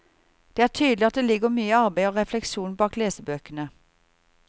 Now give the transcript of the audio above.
Det er tydelig at det ligger mye arbeid og refleksjon bak lesebøkene.